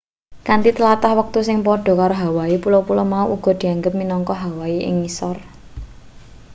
kanthi tlatah wektu sing padha karo hawaii pulo-pulo mau uga dianggep minangka hawaii ing ngisor